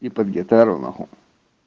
и под гитару могу